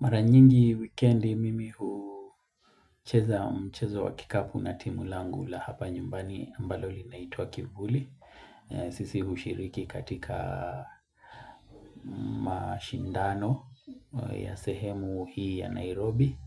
Mara nyingi wikendi mimi hucheza mchezo wa kikapu na timu langu la hapa nyumbani ambalo linaitwa kivuli. Sisi hushiriki katika mashindano ya sehemu hii ya Nairobi